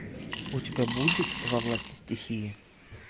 у тебя будет во власти стихии